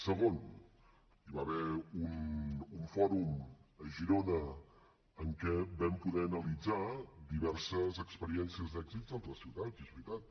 segon hi va haver un fòrum a girona en què vam poder analitzar diverses experiències d’èxits d’altres ciutats és veritat